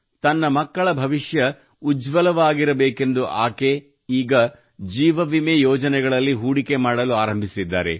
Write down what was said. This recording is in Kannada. ತನ್ನ ಮಕ್ಕಳ ಭವಿಷ್ಯ ಉಜ್ವಲವಾಗಿರಬೇಕೆಂದು ಆಕೆ ಈಗ ಜೀವ ವಿಮೆ ಯೋಜನೆಗಳಲ್ಲಿ ಹೂಡಿಕೆ ಮಾಡಲು ಆರಂಭಿಸಿದ್ದಾರೆ